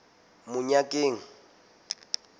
monyakeng